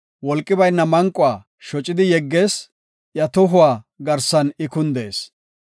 Wolqi bayna manquwa shocidi yeggees; iya tohuwa garsan I kundees.